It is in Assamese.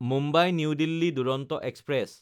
মুম্বাই–নিউ দিল্লী দুৰন্ত এক্সপ্ৰেছ